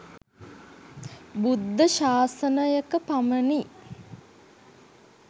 බුද්ධ ශාසනයක පමණි.